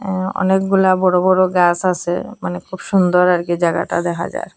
আ অনেকগুলা বড়ো বড়ো গাস আসে মানে খুব সুন্দর আর কি জায়গাটা দেখা যার।